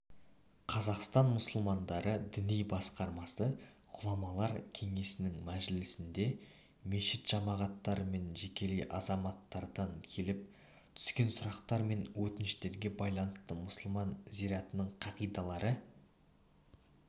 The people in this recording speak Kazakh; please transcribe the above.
қазақстан мұсылмандары діни басқармасы ғұламалар кеңесінің мәжілісінде мешіт жамағаттары мен жекелей азаматтардан келіп түскен сұрақтар мен өтініштерге байланысты мұсылман зиратының қағидалары